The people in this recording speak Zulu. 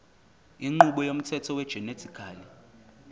inqubo yomthetho wegenetically